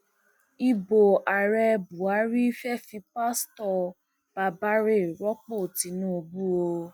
ibo ààrẹ buhari fee fi pastor babare rọpò tinubu o